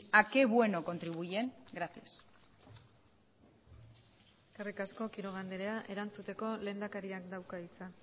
a qué bueno contribuyen gracias eskerrik asko quiroga andrea erantzuteko lehendakariak dauka hitza